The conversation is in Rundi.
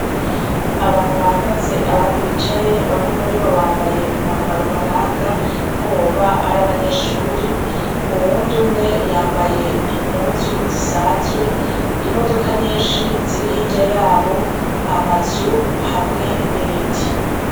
Abantu bahagaze abandi bicaye, bamwe muribo bambaye umwambaro ubaranga ko boba ari abanyeshure, uyundi umwe yambaye impuzu zisanzwe, imodoka nyinshi ziri hirya yabo, amazu hamwe n'ibiti.